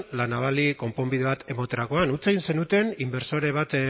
la navali konponbide bat ematerakoan huts egin zenuten inbertsore bat